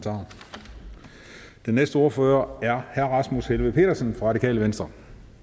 næste ordfører er herre rasmus helveg petersen fra radikale venstre